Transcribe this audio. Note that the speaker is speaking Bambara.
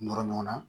Nɔrɔ ɲɔgɔnna